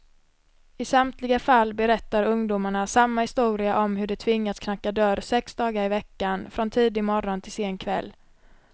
I samtliga fall berättar ungdomarna samma historia om hur de tvingats knacka dörr sex dagar i veckan, från tidig morgon till sen kväll.